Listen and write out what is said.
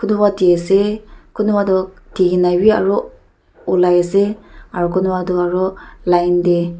kunba di asa kunba toh dina vi aru olai ase aru kunba toh aru line tae.